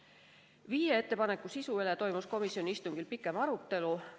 Esimese viie ettepaneku üle toimus komisjoni istungil pikem arutelu.